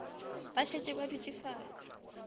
ba šetše ba dutše fase